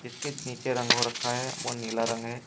जिसके नीचे रंग हो रखा है वो नीला रंग है।